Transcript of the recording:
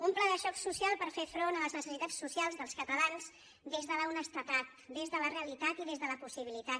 un pla de xoc social per fer front a les necessitats socials dels catalans des de l’honestedat des de la realitat i des de la possibilitat